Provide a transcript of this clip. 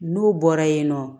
N'u bɔra yen nɔ